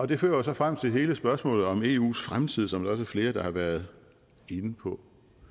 det fører jo så frem til hele spørgsmålet om eus fremtid som er flere der har været inde på